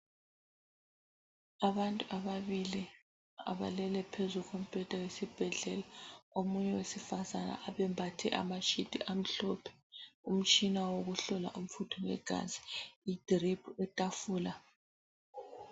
Abantu ababili abalele phezu kombheda wesibhedlela. Omunye wesifazana abembathe ama sheet amhlophe. Umtshina wokuhlola umfutho wegazi. Idrip, itafula.